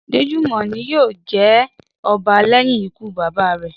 Déjùmọ̀ ni yóò jẹ ọba lẹ́yìn ikú bàbá rẹ̀